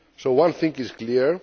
One thing is clear.